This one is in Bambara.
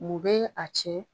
Mun bɛ a cɛn ?